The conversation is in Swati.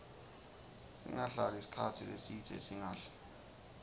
singahlali sikhatsi lesidze singadli